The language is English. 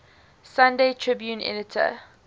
sunday tribune editor